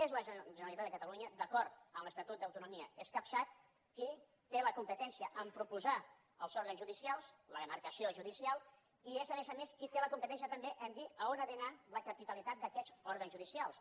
és la generalitat de catalunya d’acord amb l’estatut d’autonomia escapçat qui té la competència de proposar els òrgans judicials la demarcació judicial i és a més a més qui té la competència també de dir on ha d’anar la capitalitat d’aquests òrgans judicials